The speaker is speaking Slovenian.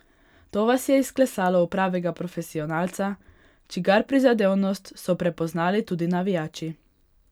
To vas je izklesalo v pravega profesionalca, čigar prizadevnost so prepoznali tudi navijači.